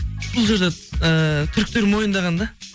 бұл жерде ііі түріктер мойындаған да